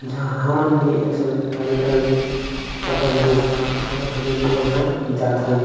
जहाँ मन भी येसन कार्य क्रम में अपन योगदान अऊ हमन भी वहाँ जाथन--